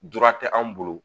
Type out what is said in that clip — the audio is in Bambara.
Dɔrɔnra tɛ anw bolo